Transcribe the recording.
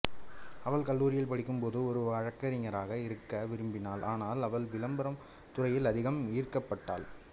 அவள் கல்லூரியில் படிக்கும் போது ஒரு வழக்கறிஞராக இருக்க விரும்பினாள் ஆனால் அவள்விளம்பர துறையில் அதிகம் ஈர்க்கப்பட்டாள்